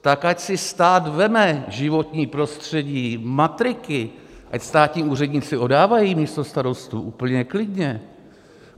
Tak ať si stát vezme životní prostředí, matriky, ať státní úředníci oddávají místo starostů, úplně klidně.